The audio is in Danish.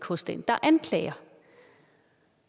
hos den der anklager